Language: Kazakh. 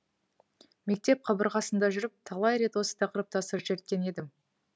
мектеп кабырғасында жүріп талай рет осы тақырыпта сыр шерткен едім